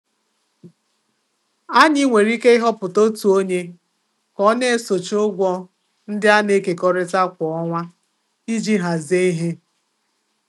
Anyị nwere ike ịhọpụta otu onye ka ọ na-esochi ụgwọ ndị a na-ekekọrịtara kwa ọnwa iji hazie ihe.